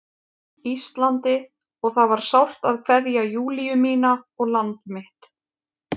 Íslandi og það var sárt að kveðja Júlíu mína og land mitt.